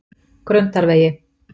Grundarvegi